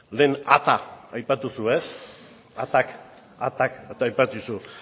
lehen atea aipatu duzu atea atea aipatu egin duzu